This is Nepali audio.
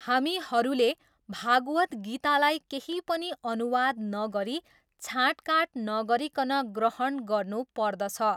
हामीहरूले भागवत् गीतालाई केही पनि अनुवाद नगरी छाटँकाटँ नगरिकन ग्रहण गर्नु पर्दछ।